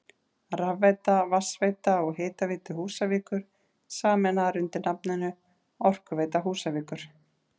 Rafveita, Vatnsveita og Hitaveita Húsavíkur sameinaðar undir nafninu Orkuveita Húsavíkur.